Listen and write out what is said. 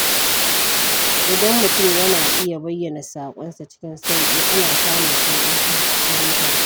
Idan mutum yana iya bayyana saƙonsa cikin sauƙi, ana samun sauƙin fahimtarsa.